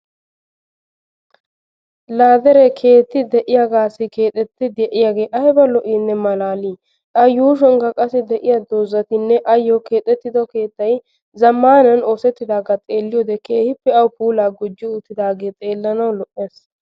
Laa dere keetta de'iyaagassi keexetti de'yagge ayibba lo"i maalalli, a yuushshuwaankka qasi deiya dozatta ayo keexetiddo keettay zamanani oosettidaga xeeliyodde kehippe awu puulla gujjes uttidage xeelanawu lo"es.